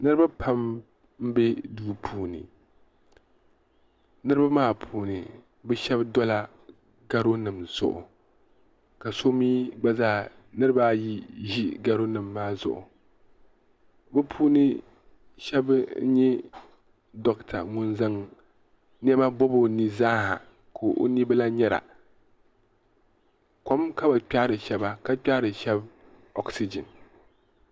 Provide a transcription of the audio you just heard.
niriba pam m-be duu puuni niriba maa puuni bɛ shɛba dola garo nima zuɣu ka niriba ayi ʒi garo nima maa zuɣu bɛ puuni shɛba n-nyɛ dokta ŋun zaŋ nema bɔbi o ni zaa ha ka o ni bi lahi nyari a kom ka bɛ kpɛhiri shɛba ka kpɛhiri shɛba wɔɣisigin.